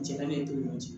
Cɛ ka ne ni ɲɔgɔn cɛ